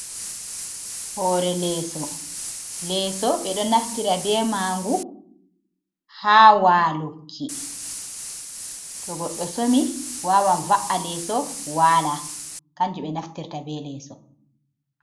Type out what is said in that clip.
Hore leeso. leeso be do naftira be mangu ha waluki. To goɗɗo somi wawan va’a leeso wala. Kanju ɓe naftirta be leeso.